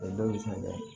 O dɔw be se ka kɛ